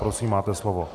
Prosím, máte slovo.